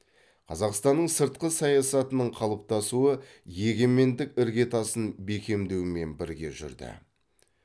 қазақстанның сыртқы саясаттының қалыптасуы егемендік іргетасын бекемдеумен бірге жүрді